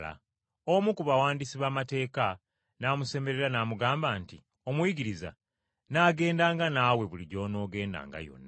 Omu ku bawandiisi b’amateeka n’amusemberera n’amugamba nti, “Omuyigiriza, nnaakugobereranga wonna w’onoogendanga!”